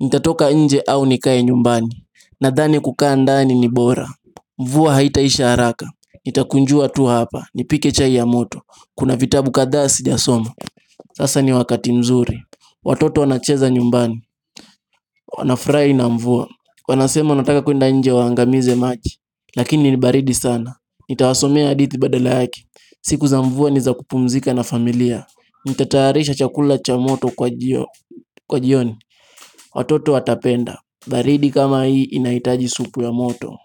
Nitatoka nje au nikae nyumbani? Nadhani kukaa ndani ni bora. Mvua haitaisha haraka. Nitakunjua tu hapa, nipike chai ya moto. Kuna vitabu kadhaa sijasoma. Sasa ni wakati mzuri. Watoto wanacheza nyumbani. Wanafurahi na mvua. Wanasema wanataka kuenda nje waangamize maji, lakini ni baridi sana. Nitawasomea hadithi badala yake. Siku za mvua ni za kupumzika na familia. Nitatayarisha chakula cha moto kwa jioni. Watoto watapenda. Baridi kama hii inahitaji supu ya moto.